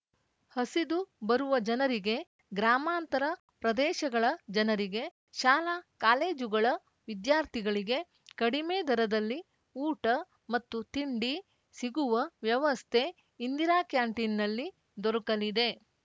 ಹಸಿದು ಬರುವ ಜನರಿಗೆ ಗ್ರಾಮಾಂತರ ಪ್ರದೇಶಗಳ ಜನರಿಗೆ ಶಾಲಾಕಾಲೇಜುಗಳ ವಿದ್ಯಾರ್ಥಿಗಳಿಗೆ ಕಡಿಮೆ ದರದಲ್ಲಿ ಊಟ ಮತ್ತು ತಿಂಡಿ ಸಿಗುವ ವ್ಯವಸ್ತೆ ಇಂದಿರಾ ಕ್ಯಾಂಟೀನ್‌ನಲ್ಲಿ ದೊರಕಲಿದೆ